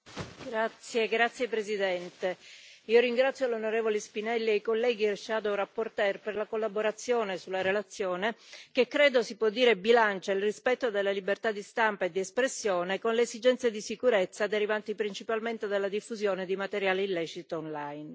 Signor Presidente, onorevoli colleghi, ringrazio l'onorevole Spinelli e i colleghi relatori ombra per la collaborazione sulla relazione che, credo, si può dire che bilancia il rispetto della libertà di stampa e di espressione con le esigenze di sicurezza derivanti principalmente dalla diffusione di materiale illecito online.